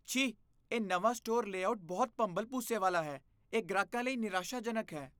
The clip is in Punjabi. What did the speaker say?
ਛੀ, ਇਹ ਨਵਾਂ ਸਟੋਰ ਲੇਆਉਟ ਬਹੁਤ ਭੰਬਲਭੂਸੇ ਵਾਲਾ ਹੈ। ਇਹ ਗ੍ਰਾਹਕਾਂ ਲਈ ਨਿਰਾਸ਼ਾਜਨਕ ਹੈ।